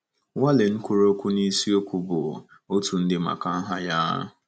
Wallen kwuru okwu n’isiokwu bụ, Otu Ndị Maka Aha Ya.